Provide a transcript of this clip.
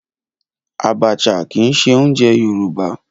Abacha kìí se oúnjẹ Yorùbá